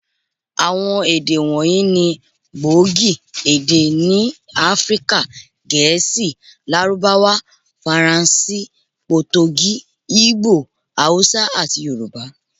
Àwọn èdè wọ̀nyí ni gbòógì èdè ni Áfríkà; Gẹ̀ẹ́sì, Lárúbáwá, Faransé, Potogí, Igbo, Hausa, àti Yorùbá.